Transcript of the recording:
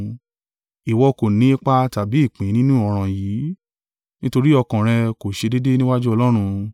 Ìwọ kò ni ipa tàbí ìpín nínú ọ̀ràn yìí, nítorí ọkàn rẹ kò ṣe déédé níwájú Ọlọ́run.